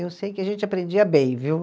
Eu sei que a gente aprendia bem, viu?